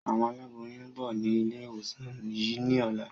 Àwọn aláboyún ń bọ̀ ni ilé ìwòsàn yìí ni ọ̀la.